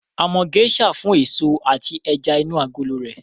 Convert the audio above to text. A mọ Geisha fún èso àti ẹja inú agolo rẹ̀